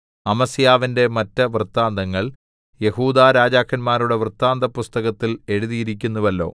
അമസ്യാവിന്റെ മറ്റ് വൃത്താന്തങ്ങൾ യെഹൂദാ രാജാക്കന്മാരുടെ വൃത്താന്തപുസ്തകത്തിൽ എഴുതിയിരിക്കുന്നുവല്ലോ